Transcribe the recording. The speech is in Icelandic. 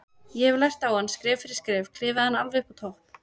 Ég hefði lært á hann, skref fyrir skref, klifið hann alveg upp á topp.